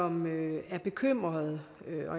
man er bekymret